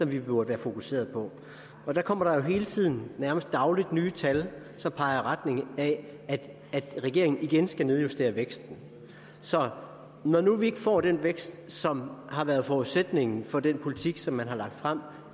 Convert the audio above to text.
vi burde være fokuserede på og der kommer der jo hele tiden nærmest dagligt nye tal som peger i retning af at regeringen igen skal nedjustere væksten så når nu vi ikke får den vækst som har været forudsætningen for den politik som man har lagt frem